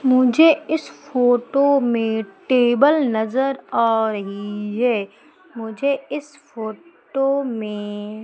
मुझे इस फोटो में टेबल नजर आ रही है मुझे इस फोटो में --